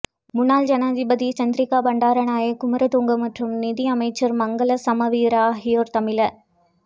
முன்னாள் ஜனாதிபதி சந்திரிக்கா பண்டாரநாயக்க குமாரதுங்க மற்றும் நிதி அமைச்சர் மங்கள சமவீர ஆகியோர் தமிழ